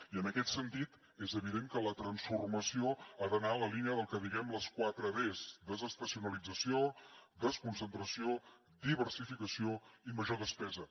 i en aquest sentit és evident que la transformació ha d’anar en la línia del que en diem les quatre des desestacionalització desconcentració diversificació i major despesa